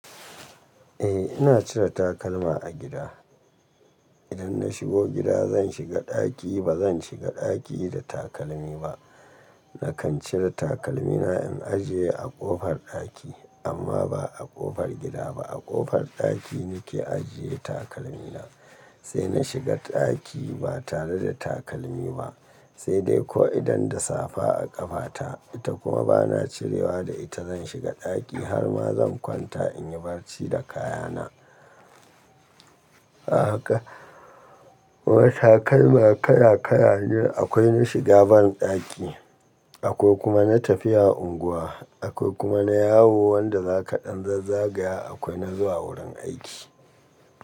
Eh ina cire takalma a gida. Idan na shigo gida zan shiga ɗaki ba zan shiga ɗaki da takalmi ba. Nakan cire takalmina in ajiye a ƙofar ɗaki amma ba a ƙofar gida ba a ƙofar ɗaki nake ajiye takalmina sai na shiga ɗaki ba tare da takalmi ba. Sai dai ko idan da safa a ƙafata ita kuma bana cirewa da ita zan shiga ɗaki har ma zan kwanta in yi barci da kayana. A haka, wata kai ma kaya kaya ne akwai na shiga ban ɗaki akwai kuma na tafiya unguwa akwai kuma na yawo wanda za ka ɗan zazzagaya akwai na zuwa wurin aiki.